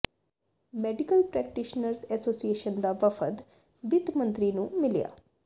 medical practitioners association ਦਾ ਵਫਦ ਵਿੱਤ ਮੰਤਰੀ ਨੰੂ ਮਿਲਿਆ